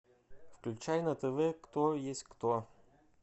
включай на тв кто есть кто